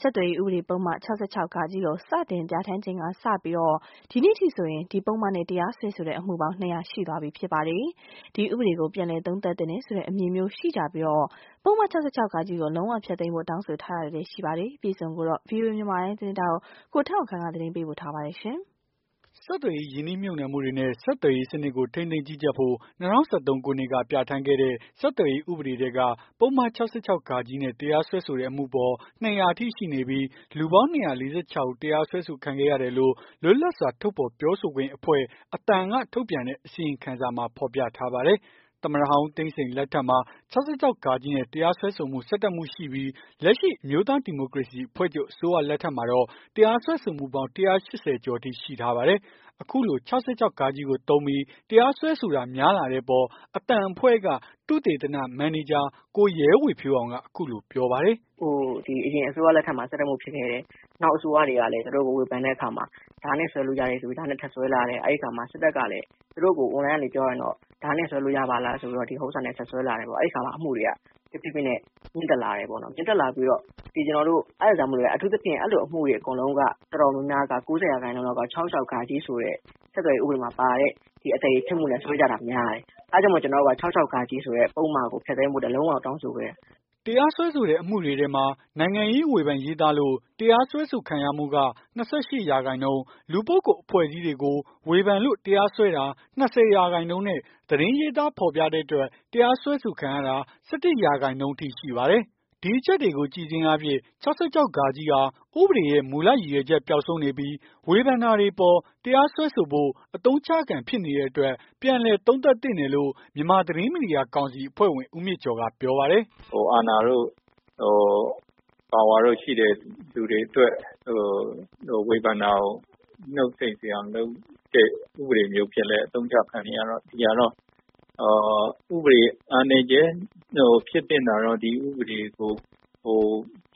ဆက်သွယ်ရေး ဥပဒေပုဒ်မ ၆၆ ကို စတင်ပြဌာန်းချိန်ကစလို့ ဒီကနေ့ထိဆိုရင် ဒီပုဒ်မနဲ့ တရားစွဲဆိုတဲ့ အမှုပေါင်း ၂၀၀ ရှိသွားပြီ ဖြစ်ပါတယ်။ ဒီဥပဒေကို ပြန်လည် သုံးသပ်သင့်တယ်ဆိုတဲ့ အမြင်မျိုး ရှိကြသလို ပုဒ်မ ၆၆ ကို လုံးဝဖျက်သိမ်းဖို့ တောင်းဆို ထားတာလည်းရှိပါတယ။် ဒီအကြောင်း ဗွီအိုအေ မြန်မာပိုင်း သတင်းထောက် ကိုထက်အောင်ခန့်က သတင်းပေးပို့ထားပါတယ်။ ဆက်သွယ်ရေး ရင်းနှီးမြှုပ်နှံမှုတွေနဲ့ ဆက်သွယ်ရေးစနစ်ကို ထိန်းသိမ်းကြီးကြပ်ဖို့ ၂၀၁၃ ခုနှစ်က ပြဌာန်းခဲ့တဲ့ ဆက်သွယ်ရေး ဥပဒေထဲက ပုဒ်မ ၆၆ နဲ့ တရားစွဲဆိုတဲ့အမှုအပေါ် ၂၀၀ အထိရှိပြီး လူပေါင်း ၂၄၆ ဦး တရားစွဲဆိုခံခဲ့ရတယ်လို့ လွတ်လပ်စွာ ထုတ်ဖော်ပြောဆိုခွင့်အဖွဲ့ အသံက ထုတ်ပြန်တဲ့ အစီရင်ခံစာမှာ ဖော်ပြထားပါတယ်။ သမ္မတဟောင်း ဦးသိန်းစိန်လက်ထက်မှာ ၆၆ နဲ့ တရားစွဲဆိုမှု ၁၁ မှုရှိခဲ့ပြီး လက်ရှိအမျိုးသား ဒီမိုကရေစီအဖွဲ့ချုပ် အစိုးရ လက်ထက်မှာတော့ တရားစွဲဆိုမှုပေါင်း ၁၈၀ ကျော်ထိ ရှိထားပါတယ်။ အခုလို ၆၆ ကိုသုံးပြီး တရားစွဲဆိုတာ များလာတဲ့အပေါ် အသံအဖွဲ့က သုသေတနမန်နေဂျာ ကိုရဲဝေဖြိုးအောင်က အခုလို ပြောပါတယ်။ "အရင်အစိုးရ လက်ထက်မှာ ၁၁ မှု ဖြစ်ခဲ့တယ်။ နောက်အစိုးရတွေကလည်း သူတို့ကို ဝေဖန်တဲ့အခါမှာ ဒါနဲ့စွဲလို့ ရတယ်ဆိုပြီး ဒါနဲ့ထပ်စွဲလာတယ်။ အဲ့အခါမှာ စစ်တပ်ကလည်း သူတို့ကို အွန်လိုင်းကနေ ပြောရင်တော့ ဒါနဲ့စွဲလို့ ရပါလားဆိုပြီးတော့ ဒီဥစ္စာနဲ့ ဆက်စွဲလာတယ်။ အဲ့အခါမှာ အမှုတွေက တဖြည်းဖြည်းနဲ့ မြင့်တက်လာတယ်။ မြင့်တက်လာပြီးတော့ အထူးသဖြင့် အဲ့လို အမှုတွေ အကုန်လုံးက တော်တော်များများ ၉၀ ရာခိုင်နှုန်းလောက်က ၆၆ ဆိုတဲ့ ဆက်သွယ်ရေး ဥပဒေမှာပါတဲ့ အသရေဖျက်မှု ဆိုတာနဲ့ စွဲကြတာများတယ်။ အဲ့ဒါကြောင့်မို့ ၆၆ ဆိုတဲ့ပုဒ်မကို ဖျက်သိမ်းဖို့ လုံးဝကို တောင်းဆိုခဲ့တယ်။" တရားစွဲဆိုတဲ့အမှုတွေထဲမှာ နိုင်ငံရေး ဝေဖန်ရေးသားလို့ တရားစွဲဆိုခံရမှုက ၂၈ ရာခိုင်နှုန်း၊ လူပုဂ္ဂိုလ် အဖွဲ့အစည်းတွေကို ဝေဖန်လို့ တရားစွဲတာ ၂၀ ရာခိုင်နှုန်းနဲ့ သတင်းရေးသား ဖော်ပြတဲ့အတွက် တရားစွဲဆိုခံရတာ ၁၁ ရာခိုင်နှုန်းအထိ ရှိပါတယ်။ ဒီအချက်တွေကို ကြည့်ခြင်းအားဖြင့် ၆၆ ဟာ ဥပဒေရဲ့ မူလရည်ရွယ်ရွယ်ချက် ပျောက်ဆုံးနေပြီး ဝေဖန်တာတွေအပေါ် တရား စွဲဆိုဖို့ အသုံးချခံဖြစ်နေတဲ့အတွက် ပြန်လည် သုံးသပ်သင့်တယ်လို့ မြန်မာ သတင်းမီဒီယာကောင်စီအဖွဲ့ဝင် ဦးမြင့်ကျော်က ပြောပါတယ်။ "အာဏာတို့ ပါဝါတို့ရှိတဲ့ သူတွေအတွက် ဝေဖန်တာကို နှုတ်ဆိတ်စေအောင်လုပ်တဲ့ ဥပဒေမျိုးအဖြစ်လည်း အသုံးချခံနေရတော့ ဥပဒေရဲ့အားနည်းချက် ဖြစ်သင့်တာတော့ ပြ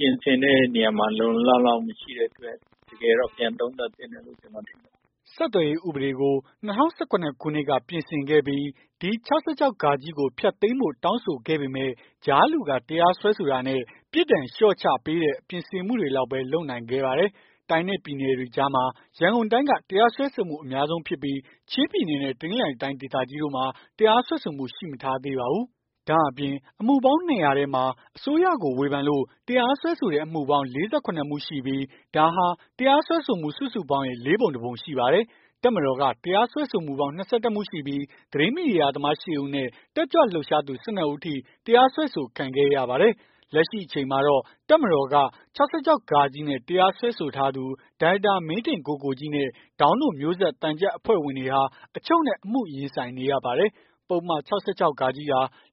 င်ဆင်တဲ့နေရာ လုံလုံလောက်လောက် မရှိတဲ့အတွက် တကယ်တော့ ပြန်သုံးသပ်သင့်တယ်။" ဆက်သွယ်ရေးဥပဒေကို ၂၀၁၇ ခုနှစ်က ပြင်ဆင်ခဲ့ပြီး ဒီ ၆၆ ကို ဖျက်သိမ်းဖို့ တောင်းဆိုခဲ့ပေမယ့် ကြားလူက တရားစွဲဆိုတာနဲ့ ပြစ်ဒဏ်ကို လျှော့ချပေးတဲ့ ပြင်ဆင်မှုတွေလောက်ပဲ လုပ်နိုင်ခဲ့ပါတယ်။ တိုင်းနဲ့ပြည်နယ်တွေကြားမှာ ရန်ကုန်တိုင်းက တရားစွဲဆိုမှု အများဆုံးဖြစ်ပြီး ချင်းပြည်နယ်နဲ့ တနင်္သာရီတိုင်း ဒေသကြီးတို့မှာ တရားစွဲဆိုမှု ရှိမထားသေးပါဘူး။ ဒါ့အပြင် အမှုပေါင်း ၂၀၀ ထဲမှာ အစိုးရကို ဝေဖန်လို့ တရားစွဲဆိုတဲ့ အမှုပေါင်းက ၄၇ မှုရှိပြီး ဒါဟာ တရားစွဲဆိုမှု စုစုပေါင်းရဲ့ ၄ ပုံ တပုံရှိပါတယ်။ တပ်မတော်က တရားစွဲဆိုမှုပေါင်း ၂၁ မှုရှိပြီး သတင်းမီဒီယာသမား ၈ ဦးနဲ့ တက်ကြွလှုပ်ရှားသူ ၁၂ ဦးအထိ တရားစွဲဆိုခံခဲ့ရပါတယ်။ လက်ရှိအချိန်မှာတော့ တပ်မတော်က ၆၆ နဲ့ တရားစွဲဆိုထားသူ ဒါရိုက်တာ မင်းထင်ကိုကိုကြီးနဲ့ ဒေါင်းတို့မျိုးဆက် သံချပ်အဖွဲ့ဝင်တွေဟာ အချုပ်နဲ့ အမှုရင်ဆိုင်နေရပါတယ်။ ပုဒ်မ ၆၆ ဟာ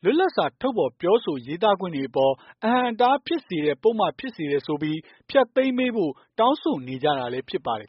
လွတ်လပ်စွာ ထုတ်ဖော်ပြောဆို ရေးသားခွင့်တွေအပေါ် အဟန့်အတားဖြစ်စေတဲ့ ပုဒ်မဖြစ်စေတယ်ဆိုပြီး ဖျက်သိမ်းပေးဖို့ တောင်းဆိုနေကြတာလည်း ဖြစ်ပါတယ်